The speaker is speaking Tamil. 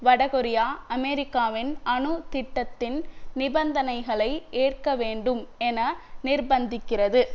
வடகொரியா அமெரிக்காவின் அணு திட்டத்தின் நிபந்தனைகளை ஏற்கவேண்டும் என நிர்பந்திக்கிறது